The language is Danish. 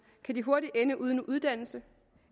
kan de hurtigt ende uden uddannelse